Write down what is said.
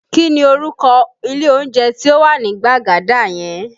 Kí ni orúkọ ilé oúnjẹ tí ó wà ní Gbagada yẹn?